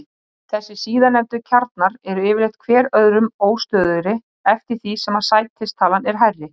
Þessir síðarnefndu kjarnar eru yfirleitt hver öðrum óstöðugri eftir því sem sætistalan er hærri.